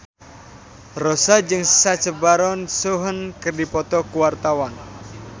Rossa jeung Sacha Baron Cohen keur dipoto ku wartawan